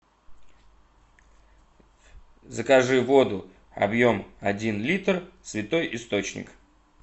закажи воду объем один литр святой источник